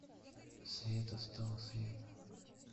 света с того света